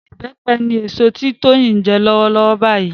Ìbẹ́pẹ ni èso tí Tóyìn ń jẹ lọ́wọ́lọ́wọ́ báyìí